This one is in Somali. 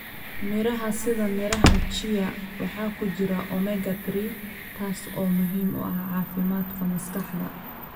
Miraha sida miraha chia waxaa ku jira Omega 3, taas oo muhiim u ah caafimaadka maskaxda.